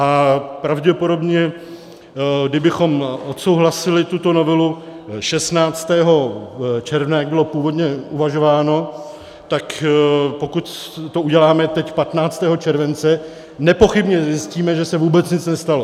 A pravděpodobně kdybychom odsouhlasili tuto novelu 16. června, jak bylo původně uvažováno, tak pokud to uděláme teď 15. července, nepochybně zjistíme, že se vůbec nic nestalo.